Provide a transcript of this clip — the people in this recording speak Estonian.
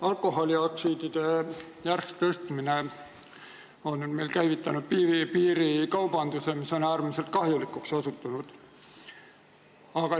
Alkoholiaktsiiside järsk tõstmine on meil käivitanud piirikaubanduse, mis on äärmiselt kahjulikuks osutunud.